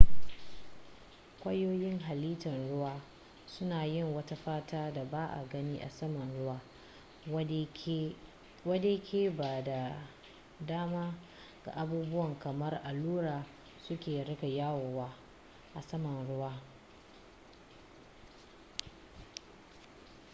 kwayoyin halittar ruwan suna yin wata fata da ba a gani a saman ruwa wadde ke ba da dama ga abubuwa kamar allura su riƙa yawo a saman ruwa